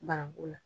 Bananku la